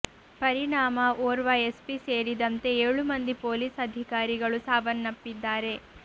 ಪರಿಣಾಮ ಓರ್ವ ಎಸ್ಪಿ ಸೇರಿದಂತೆ ಏಳು ಮಂದಿ ಪೊಲೀಸ್ ಅಧಿಕಾರಿಗಳು ಸಾವನ್ನಪ್ಪಿದ್ದಾರೆ